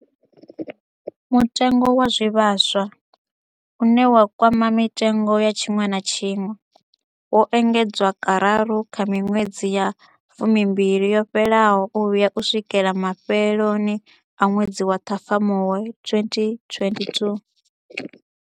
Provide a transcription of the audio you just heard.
Mutengo wa zwivhaswa, une wa kwama mitengo ya tshiṅwe na tshiṅwe, wo engedzwa kararu kha miṅwedzi ya fumimbili yo fhelaho u vhuya u swikela mafheloni a ṅwedzi wa Ṱhafamuhwe 2022.